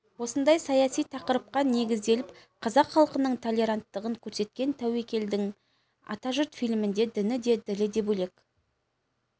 осындай саяси тақырыпқа негізделіп қазақ халқының толеранттығын көрсеткен тәуекелдің атажұрт фильмінде діні де ділі де бөлек